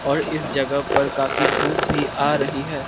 और इस जगह पर काफी धूप भी आ रही है।